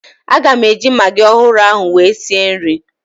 Aga m eji magị ọhụrụ ahụ wee sie nri